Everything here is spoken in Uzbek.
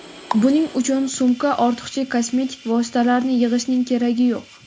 Buning uchun sumka ortiqcha kosmetik vositalarni yig‘ishning keragi yo‘q.